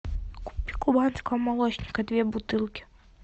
купи кубанского молочника две бутылки